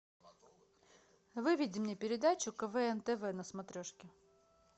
выведи мне передачу квн тв на смотрешке